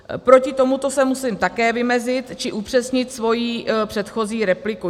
Proti tomuto se musím také vymezit, či upřesnit svoji předchozí repliku.